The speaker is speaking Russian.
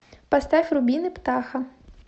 поставь рубины птаха